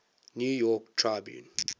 new york tribune